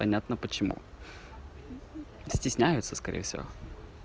понятно почему стесняются скорее всего